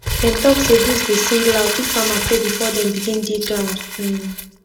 dem talk say breeze dey sing loud if farmer pray before dem begin dig ground um